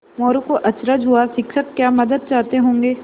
मोरू को अचरज हुआ शिक्षक क्या मदद चाहते होंगे